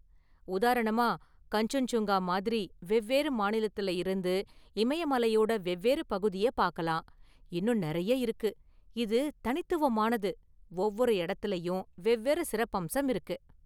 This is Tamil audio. உதாரணமா, கஞ்சன்சுங்கா மாதிரி வெவ்வேறு மாநிலத்துல இருந்து இமய மலையோட வெவ்வேறு பகுதிய பாக்கலாம், இன்னும் நெறைய இருக்கு, இது தனித்துவமானது, ஒவ்வொரு இடத்துலயும் வெவ்வேறு சிறப்பம்சம் இருக்கு.